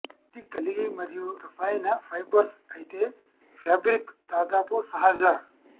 ఇది కలిగి మరియు రసాయన ఫైబర్స్ అయితే ఫ్యాబ్రిక్ దాదాపు సహజ